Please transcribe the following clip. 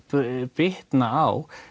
bitna á